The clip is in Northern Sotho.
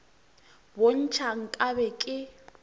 bo ntšha nka be ke